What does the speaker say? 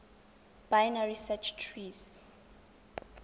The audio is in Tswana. binary search trees